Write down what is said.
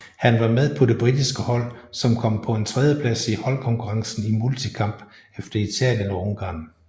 Han var med på det britiske hold som kom på en tredjeplads i holdkonkurrencen i multikamp efter Italien og Ungarn